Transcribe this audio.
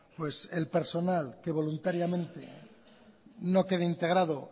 pues el personal que voluntariamente no quede integrado